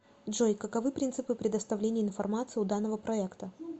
джой каковы принципы предоставления информации у данного проекта